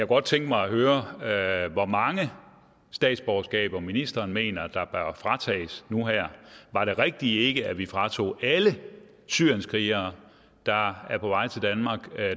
godt tænke mig at høre hvor mange statsborgerskaber ministeren mener der bør fratages nu her var det rigtige ikke at vi fratog alle syrienskrigere der er på vej til danmark